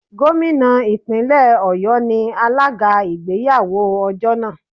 Gómìnà Ìpínlẹ̀ Ọ̀yọ́ ni alága ìgbéyàwó ọjọ́ náà.